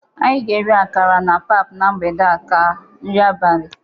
Anyị ga-eri akara na pap na mgbede a ka nri abalị.